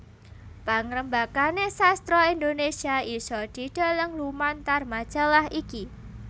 Pangrembakane sastra Indonesia isa didheleng lumantar majalah iki